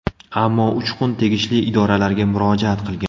Ammo Uchqun tegishli idoralarga murojaat qilgan.